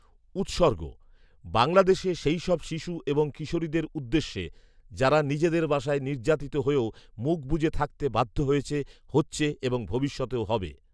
উৎসর্গঃ বাংলাদেশে সেইসব শিশু এবং কিশোরীদের উদ্দেশ্যে; যারা নিজেদের বাসায় নির্যাতিত হয়েও মুখ বুজে থাকতে বাধ্য হয়েছে, হচ্ছে এবং ভবিষ্যতেও হবে